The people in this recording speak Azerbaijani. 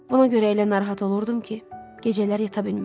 Buna görə elə narahat olurdum ki, gecələr yata bilmirdim.